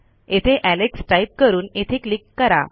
येथे Alex type करून येथे क्लिक करा